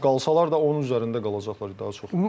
Yəni qalsalar da onun üzərində qalacaqlar daha çox.